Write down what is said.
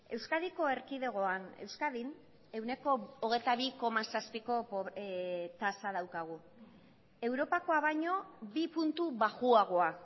euskadiko erkidegoan euskadin ehuneko hogeita bi koma zazpiko tasa daukagu europakoa baino bi puntu baxuagoa